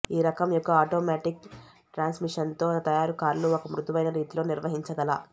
ఈ రకం యొక్క ఆటోమేటిక్ ట్రాన్స్మిషన్తో తయారు కార్లు ఒక మృదువైన రీతిలో నిర్వహించగల